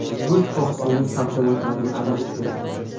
Go‘sht oqsilini sabzavotlarga almashtiring.